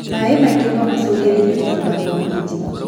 Maĩ maingĩ nomacungĩrĩrie kũbutha kwa minji.